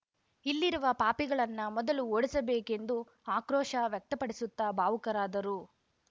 ಇಲ್ಲಿರುವ ಪಾಪಿಗಳನ್ನ ಮೊದಲು ಓಡಿಸಬೇಕೆಂದು ಆಕ್ರೋಶ ವ್ಯಕ್ತಪಡಿಸುತ್ತ ಭಾವುಕರಾದರು